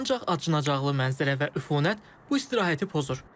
Ancaq acınacaqlı mənzərə və üfunət bu istirahəti pozur.